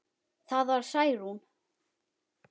Það var Særún.